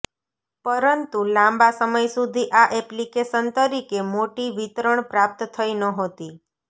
પરંતુ લાંબા સમય સુધી આ એપ્લિકેશન તરીકે મોટી વિતરણ પ્રાપ્ત થઈ નહોતી